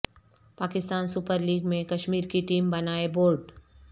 Pakistan super league میں کشمیر کی team بنائے بورڈ